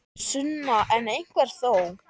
Sunna: En einhver þó?